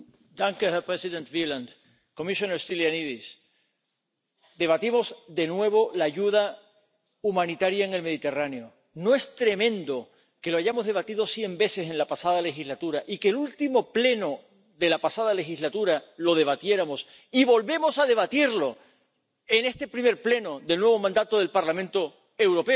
Señor presidente, comisario Stylianides, debatimos de nuevo la ayuda humanitaria en el Mediterráneo. ¿No es tremendo que lo hayamos debatido cien veces en la pasada legislatura y que en el último pleno de la pasada legislatura lo debatiéramos, y que volvamos a debatirlo en este primer pleno del nuevo mandato del Parlamento Europeo?